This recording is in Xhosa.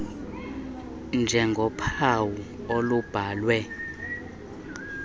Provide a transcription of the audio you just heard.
r njengophawu olubhalwe